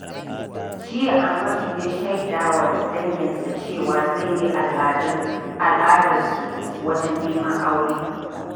Jiya, Amadu ya shaida wa danginsa cewa zai bi al’adarsu wajen neman aure.